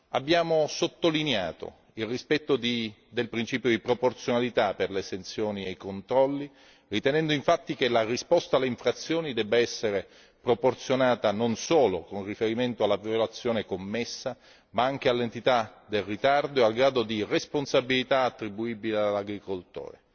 Abbiamo sottolineato il rispetto del principio di proporzionalità per le sanzioni e i controlli, ritenendo che la risposta alle infrazioni debba essere proporzionata non solo alla violazione commessa ma anche all'entità del ritardo e al grado di responsabilità attribuibile all'agricoltore.